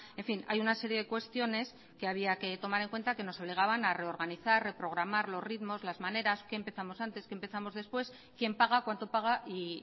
en fin hay una serie de cuestiones que había que tomar en cuenta que nos obligaban a reorganizar reprogramar los ritmos las maneras qué empezamos antes qué empezamos después quién paga cuánto paga y